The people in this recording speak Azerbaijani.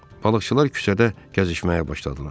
Balıqçılar küçədə gəzişməyə başladılar.